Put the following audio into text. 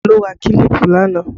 Olu ra kílípù lánàá